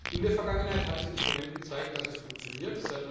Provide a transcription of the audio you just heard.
In der Vergangenheit hat das Instrument gezeigt, dass es funktioniert.